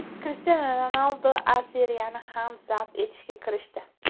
Krishtianu Ronaldu A Seriyani ham zabt etishga kirishdi.